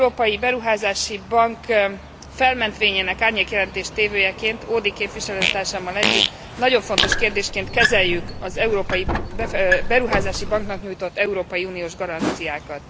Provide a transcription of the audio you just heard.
Az Európai Beruházási Bank felmentvényének árnyék jelentéstévőjeként Audy képviselőtársammal együtt nagyon fontos kérdésként kezeljük az Európai Beruházási Banknak nyújtott európai uniós garanciákat.